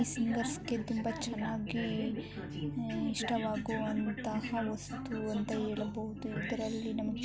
ಸಿಂಗರ್ಸ್ಗೆ ತುಂಬಾ ಚನ್ನಾಗಿ ಈ ಇಷ್ಟವಾಗುವಂತಹ ವಸ್ತು ಅಂತ ಹೇಳಬಹುದು. ಇದರಲ್ಲಿ ನಮಗೆ--